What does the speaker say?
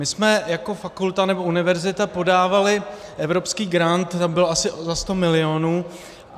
My jsme jako fakulta, nebo univerzita, podávali evropský grant, ten byl asi za 100 milionů.